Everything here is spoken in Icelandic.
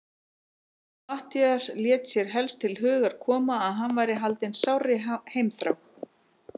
Matthías lét sér helst til hugar koma, að hann væri haldinn sárri heimþrá.